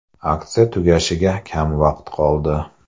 Aksiya tugashiga kam vaqt qoldi.